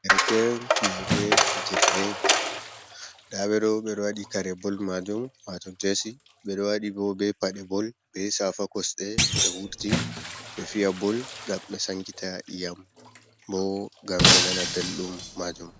Ɗerken fiyoɓe fijirɗe bol. Nɗaɓe ɗo, ɓe ɗo waɗi kare bol majum, wato jesi. Ɓe ɗo waɗi ɓo ɓe paɗe bol, ɓe safa kosɗe, ɓe wurti ɓe fiya bol. Ngam ɓe sankita iyam, ɓo ngam ɓe nana ɓelɗum majum.